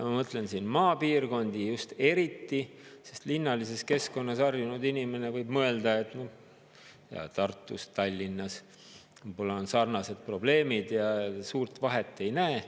Ma mõtlen siin maapiirkondi just eriti, sest linnalises keskkonnas harjunud inimene võib mõelda Tartus, Tallinnas, et võib-olla on sarnased probleemid ja suurt vahet ei näe.